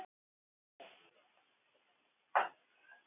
Hann hvetur hana til að koma með.